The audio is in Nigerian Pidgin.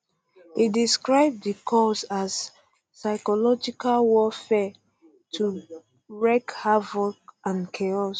e describe di calls as psychological warfare to wreak havoc and chaos